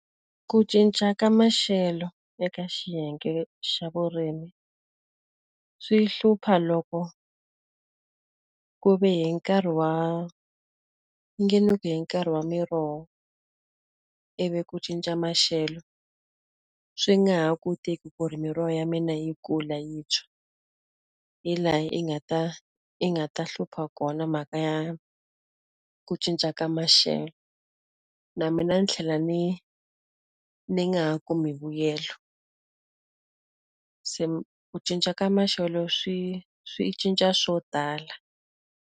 Ku cinca ka maxelo eka xiyenge xa vurimi, swi hlupha loko ku ve hi nkarhi wa i nge ni ku hi nkarhi wa miroho, ivi ku cinca maxelo, swi nga ha kotiki ku ri miroho ya mina yi kula yi tshwa. Hi laha yi nga ta yi nga ta hlupha kona mhaka ya ku cinca ka maxelo. Na mina ni tlhela ni ni nga ha kumi mbuyelo. Se ku cinca ka maxelo swi swi cinca swo tala.